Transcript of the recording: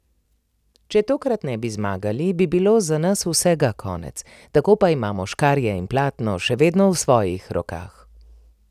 Če tokrat ne bi zmagali, bi bilo za nas vsega konec, tako pa imamo škarje in platno še vedno v svojih rokah.